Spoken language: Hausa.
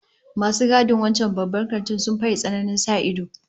Masu gadin wancan Babban Kantin sun faye tsananin sa ido